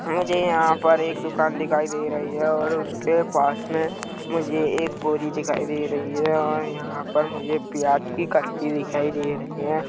मुझे यहाँ पर एक दुकान दिखाई दे रही हैं और उसके पास में मुझे एक बोरी दिखाई दे रही हैं और यहाँ पर मुझे प्याज़ की कट्टी दिखाई दे रही हैं।